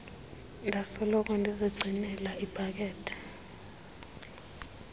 ndasoloko ndizigcinele ipakethe